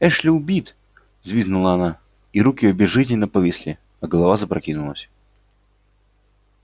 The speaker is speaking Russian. эшли убит взвизгнула она и руки её безжизненно повисли а голова запрокинулась